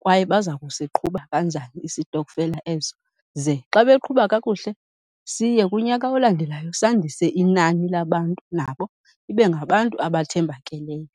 kwaye baza kusiqhuba kanjani isitokfela eso. Ze xa beqhuba kakuhle, siye kunyaka olandelayo sandise inani labantu. Nabo ibe ngabantu abathembakeleyo.